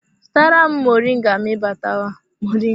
Zụtara m moringa ma ị batawa!